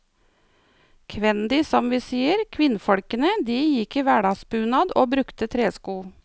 Kvendi som vi sier, kvinnfolkene, de gikk i hverdagsbunad og brukte tresko.